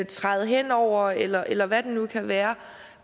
træde hen over eller eller hvad det nu kan være